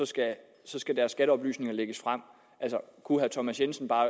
skal lægges frem kunne herre thomas jensen bare